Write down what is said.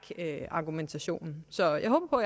argumentationen så jeg håber